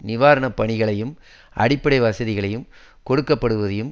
நிவாரண பணிகளையும் அடிப்படை வசதிகளைகள் கொடுக்கப்படுவதையும்